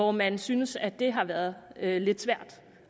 og man har syntes at det har været lidt svært